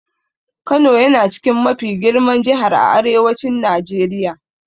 Kano yana chikin mafi girman Jihar a Arewacin Najeriya.